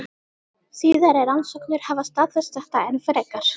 Síðari rannsóknir hafa staðfest þetta enn frekar.